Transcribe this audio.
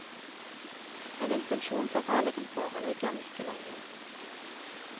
En intensjonsavtale kan foreligge om ikke lenge.